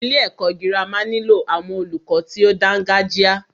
Ilé ẹ̀kọ́ gírámà nílò àwọn olùkọ tí o dáńgájia.